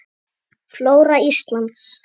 Flóra Íslands